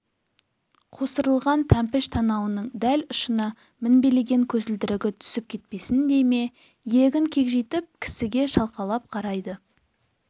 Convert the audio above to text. қусырылған тәмпіш танауының дәл ұшына мінбелеген көзілдірігі түсіп кетпесін дей ме иегін кекжитіп кісіге шалқалап қарайды